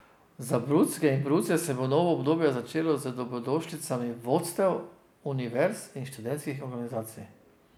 Za brucke in bruce se bo novo obdobje začelo z dobrodošlicami vodstev univerz in študentskih organizacij.